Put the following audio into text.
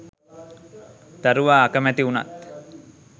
දරුවා අකැමැති වුනත්